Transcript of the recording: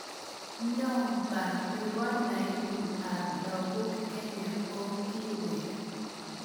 Nyomba nebo naibu ab lagok Kenya ko kiwek.